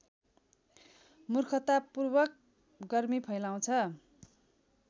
मूर्खतापूर्वक गर्मी फैलाउँछ